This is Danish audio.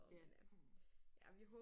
Den er hund